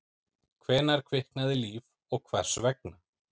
Hvenær kviknaði líf og hvers vegna?